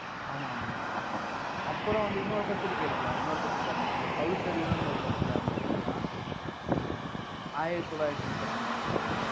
ஆமா ஆமாய்யா அஹ் அப்புறம் வந்து இன்னொரு பத்திரிகை இருக்குய்யா? இன்னொரு பத்திரிகை ஆரம்பிச்சிருக்கு. பகுத்தறிவுன்னு ஒரு பத்திரிகை ஆரம்பிச்சிருக்காருயா. ஆயிரத்தி தொள்ளாயிரத்தி முப்பத்தி நாலுல